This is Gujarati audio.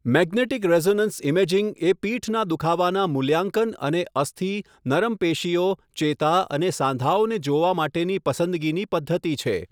મેગ્નેટિક રેઝોનન્સ ઇમેજિંગ એ પીઠનાં દુખાવાનાં મૂલ્યાંકન અને અસ્થિ, નરમ પેશીઓ, ચેતા અને સાંધાઓને જોવા માટેની પસંદગીની પદ્ધતિ છે.